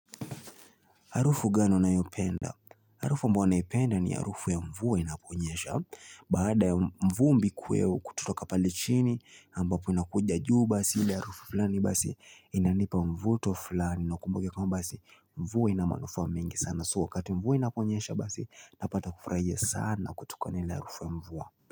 Harufu gani unayopenda? Harufu ambayo nayopenda ni harufu ya mvua inaponyesha. Baada ya vumbi kuweo kututoka pale chini, ambapo inakuja juu basi ile harufu fulani basi inanipa mvuto flani. Na ukumbuke kwamba basi mvua ina manufaa mengi sana. So wakati mvua inaponyesha basi napata kufurahia sana kutokana na ile harufu ya mvua.